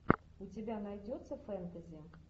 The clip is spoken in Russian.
у тебя найдется фэнтези